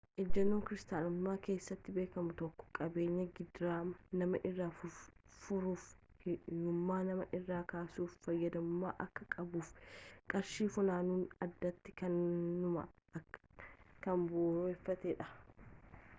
ejennoon kiristaanummaa keessatti beekamu tokko qabeenyi gidiraa nama irraa furuufi ,hiyyummaa nama irraa kaasuuf fayyadamamuu akka qabuufi qarshiin funaanamu addatti kanuma kan bu'uureffateedha